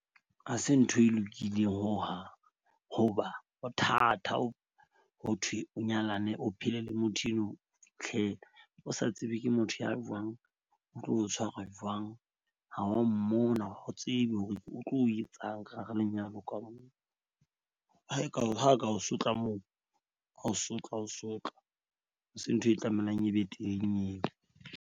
Ha se ntho e lokileng hohang hoba ho thata ho thwe o nyalane, o phele le motho eno o sa tsebe ke motho ya jwang. O tlo tshwarwa jwang ha o mmona. O tsebe hore o tlo etsang ka hara lenyalo ka mona ha eka ha a ka o sotla moo a o sotla a o sotla. Ha se ntho e tlamelang e be teng eo.